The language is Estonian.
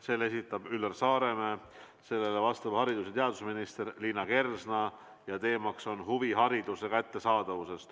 Selle esitab Üllar Saaremäe, sellele vastab haridus- ja teadusminister Liina Kersna ja selle teema on huvihariduse kättesaadavus.